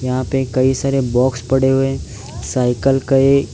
यहां पे कई सारे बॉक्स पड़े हुए हैं साइकिल कई--